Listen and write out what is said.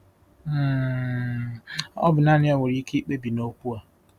um Ọ bụ naanị ya nwere ike ikpebi n'okwu a.